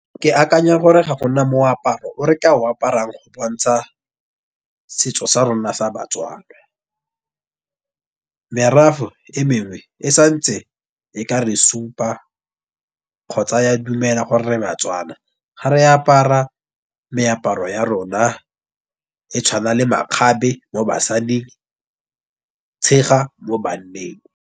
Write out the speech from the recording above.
Ke akanya gore ga gona moaparo o re ka o aparang go bontsha setso sa rona sa baTswana. Merafe e mengwe e santse e ka re supa kgotsa ya dumela gore re baTswana. Gare apara meaparo ya rona e tshwana le makgabe mo basading, tshega mo banneng.